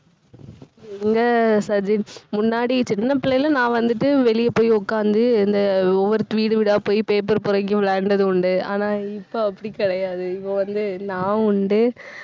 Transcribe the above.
எங்க சஜின் முன்னாடி சின்ன பிள்ளையில நான் வந்துட்டு வெளிய போய் உட்கார்ந்து இந்த ஒவ்வொரு வீடு வீடா போய் paper பொறுக்கி விளையாடினது உண்டு. ஆனா இப்ப அப்படி கிடையாது. இப்ப வந்து நான் உண்டு